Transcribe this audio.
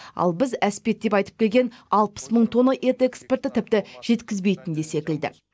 ал біз әспеттеп айтып келген алпыс мың тонна ет экспорты тіпті жеткізбейтін де секілді